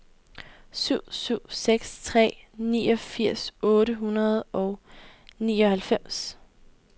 syv syv seks tre niogfirs otte hundrede og nioghalvfems